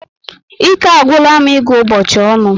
Ike agwula m ịgụ ụbọchị ọnụ